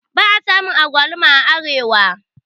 ba a samu agwaluma a Arewa